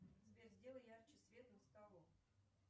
сбер сделай ярче свет над столом